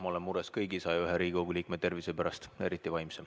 Ma olen mures kõigi 101 Riigikogu liikme tervise pärast, eriti vaimse.